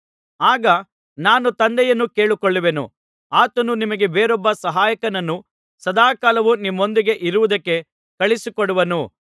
ಆಗ ನಾನು ತಂದೆಯನ್ನು ಕೇಳಿಕೊಳ್ಳುವೆನು ಆತನು ನಿಮಗೆ ಬೇರೊಬ್ಬ ಸಹಾಯಕನನ್ನು ಸದಾಕಾಲವೂ ನಿಮ್ಮೊಂದಿಗೆ ಇರುವುದಕ್ಕೆ ಕಳುಹಿಸಿ ಕೊಡುವನು